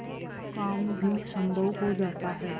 असम्भव काम भी संभव हो जाता है